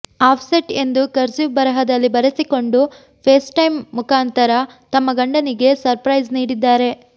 offset ಎಂದು cursive ಬರಹದಲ್ಲಿ ಬರೆಸಿಕೊಂಡು ಫೇಸ್ಟೈಮ್ ಮುಖಾಂತರ ತಮ್ಮ ಗಂಡನಿಗೆ ಸರ್ಪ್ರೈಸ್ ನೀಡಿದ್ದಾರೆ